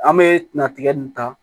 An bɛ natigɛ nin ta